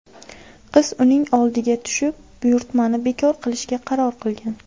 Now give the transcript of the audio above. Qiz uning oldiga tushib buyurtmani bekor qilishga qaror qilgan.